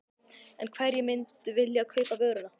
En hverjir myndu vilja kaupa vöruna?